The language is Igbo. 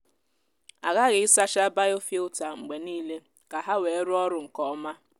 Aghaghị ịsacha biofilter mgbe niile ka ha wee rụọ ọrụ nke ọma.